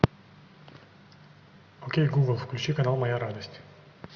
окей гугл включи канал моя радость